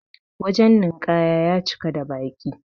wajen ninƙaya ya cika da baƙi